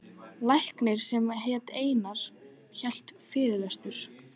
Læknir sem hét Einar hélt fyrirlestur.